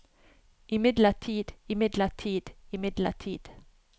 imidlertid imidlertid imidlertid